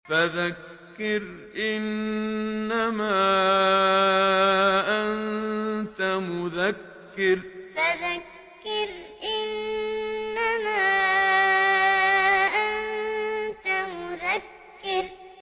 فَذَكِّرْ إِنَّمَا أَنتَ مُذَكِّرٌ فَذَكِّرْ إِنَّمَا أَنتَ مُذَكِّرٌ